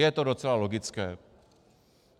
Je to docela logické.